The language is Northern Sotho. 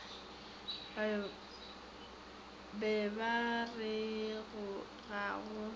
be ba re ga go